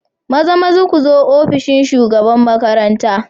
Mazamaza ku zo ofishin shugaban makaranta.